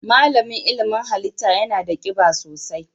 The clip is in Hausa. Malamin ilimin halitta yana da kiba sosai.